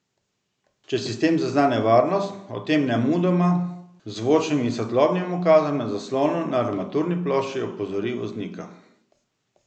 Če sistem zazna nevarnost, o tem nemudoma z zvočnim in svetlobnim ukazom na zaslonu na armaturni plošči opozori voznika.